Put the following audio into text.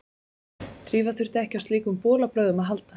Drífa þurfti ekki á slíkum bolabrögðum að halda.